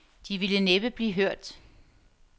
De ville næppe blive hørt.